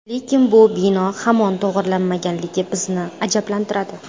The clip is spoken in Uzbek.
Lekin bu bino hamon to‘g‘rilanmaganligi bizni ajablantiradi.